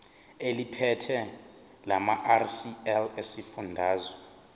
eliphethe lamarcl esifundazwe